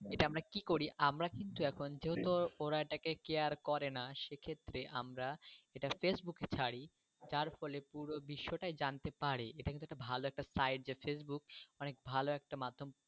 এটা আমরা কি করি আমরা কিন্তু এখন যেহেতু ওরা এটা কে কেয়ার করে না সে ক্ষেত্রে আমরা এটা face book এ ছাড়ি যার ফলে পুরো বিশ্ব টাই জানতে পারে। এটা কিন্তু ভালো একটা সাইড যে face book অনেক ভালো একটা মাধ্যম।